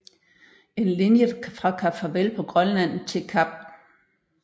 En linje fra Kap Farvel på Grønland til Kap St